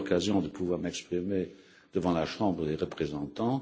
J'ai eu l'occasion de pouvoir m'exprimer devant la Chambre des représentants.